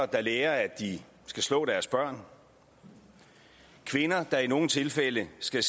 der lærer at de skal slå deres børn kvinder der er i nogle tilfælde skal